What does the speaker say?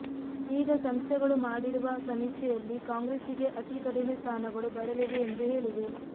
ಈಗ ಸಂಸ್ಥೆಗಳು ಮಾಡಿರುವ ಸಮೀಕ್ಷೆಯಲ್ಲಿ ಕಾಂಗ್ರೆಸ್ಸಿಗೆ ಅತಿ ಕಡಿಮೆ ಸ್ಥಾನಗಳು ಬರಲಿವೆ ಎಂದು ಹೇಳಿವೆ